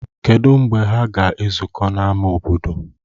Kedụ mgbe ha ga-ezukọ n'ámá obodo?